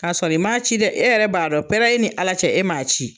K'asɔrɔ i maa ci dɛ, e yɛrɛ b'a dɔn pɛɛrɛ e ni ala cɛ e maa ci.